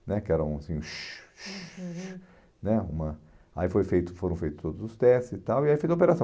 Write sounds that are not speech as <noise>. né que era uma assim... <unintelligible> Hum, uhum, né uma, aí foi feito foram feitos todos os testes e tal, e aí fez a operação.